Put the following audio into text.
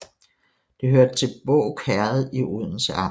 Det hørte til Båg Herred i Odense Amt